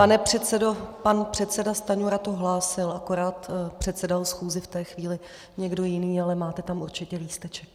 Pane předsedo, pan předseda Stanjura to hlásil, akorát předsedal schůzi v té chvíli někdo jiný, ale máte tam určitě lísteček.